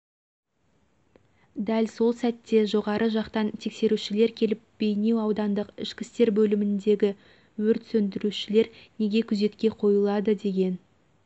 дәл сол сәтте жоғары жақтан тексерушілер келіп бейнеу аудандық ішкі істер бөліміндегі өрт сөндірушілер неге күзетке қойылады деген